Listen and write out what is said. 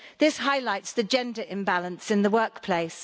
This highlights the gender imbalance in the workplace.